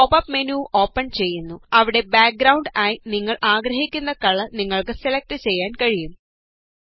ഒരു pop up menu open ചെയ്യുന്നു അവിടെ ബാക് ഗ്രൌണ്ട് ആയി നിങ്ങള് ആഗ്രഹിക്കുന്ന കളര് നിങ്ങള്ക്ക് സെലക്ട് ചെയ്യുവാന് കഴിയും